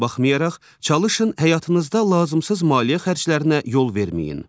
Buna baxmayaraq, çalışın həyatınızda lazımsız maliyyə xərclərinə yol verməyin.